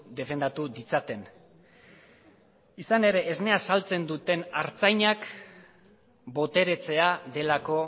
defendatu ditzaten izan ere esnea saltzen duten artzainak boteretzea delako